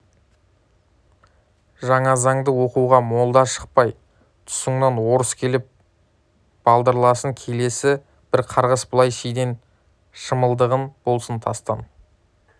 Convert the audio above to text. жаназаңды оқуға молда шықпай тұсыңнан орыс келіп балдырласын келесі бір қарғыс былай шиден шымылдығың болсын тастан